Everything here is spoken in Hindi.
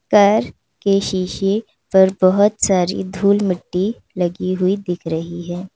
घर के शीशे पर बहुत सारी धूल मिट्टी लगी हुई दिख रही है।